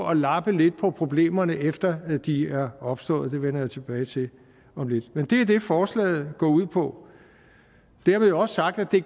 at lappe lidt på problemerne efter de er opstået det vender jeg tilbage til om lidt men det er det forslaget går ud på dermed også sagt at det